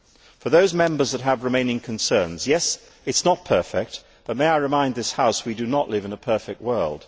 For those Members who have remaining concerns, it is not perfect, but may I remind this House that we do not live in a perfect world.